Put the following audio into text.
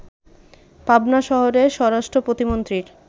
পাবনা শহরে স্বরাষ্ট্র প্রতিমন্ত্রীর